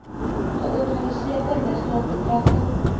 georganiseerde misdaad betrekking